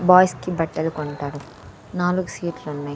Boys కి బట్టలు కొంటారు నాలుగు సీట్లున్నయ్ .